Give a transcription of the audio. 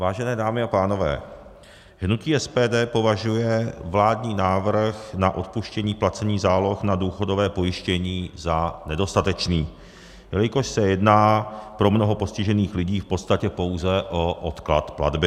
Vážené dámy a pánové, hnutí SPD považuje vládní návrh na odpuštění placení záloh na důchodové pojištění za nedostatečný, jelikož se jedná pro mnoho postižených lidí v podstatě pouze o odklad platby.